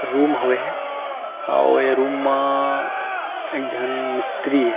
Room होवे हे अउ ए रूम म अअअ एक झन मिस्त्री हे।